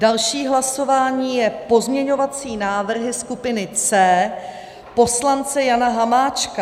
Další hlasování jsou pozměňovací návrhy skupiny C poslance Jana Hamáčka.